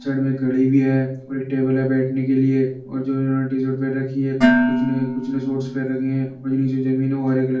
Side में एक घड़ी भी है और एक टेबल है बैठने के लिए और जो इन्होंने टीशर्ट पहन रखी है। कुछ ने कुछ ने शॉर्टस पहन रखी है और ये नीचे जमीन है। वो हरे --